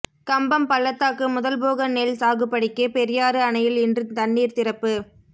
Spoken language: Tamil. கம்பம் பள்ளத்தாக்கு முதல்போக நெல் சாகுபடிக்கு பெரியாறு அணையில் இன்று தண்ணீா் திறப்பு